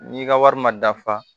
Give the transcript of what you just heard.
N'i ka wari ma dafa